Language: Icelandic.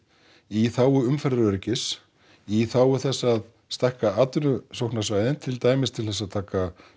í þágu umferðaröryggis í þágu þess að stækka atvinnusóknarsvæðin til dæmis til þess að taka